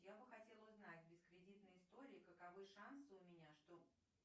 я бы хотела узнать без кредитной истории каковы шансы у меня что